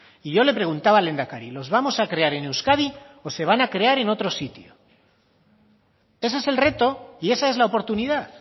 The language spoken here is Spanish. y yo le preguntaba al lehendakari los vamos a crear en euskadi o se van a crear en otro sitio ese es el reto y esa es la oportunidad